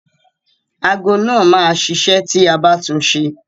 Ago náà máa ṣiṣẹ́ ti a bá tun ṣe.